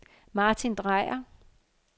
Martin Dreyer